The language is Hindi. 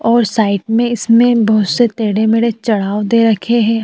और साइड मे इसमे बोहोत से टेढ़े मेढ़े चढ़ाव दे रखे हैं।